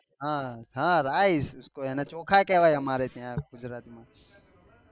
હા rise એને ચોખા કેવાય અમારા ત્યાં ગુજરાત માં